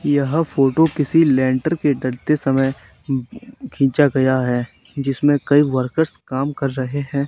यह फोटो किसी लेंटर के डलते समय खिंच गया है जिसमें कई वर्कर्स कम कर रहे हैं।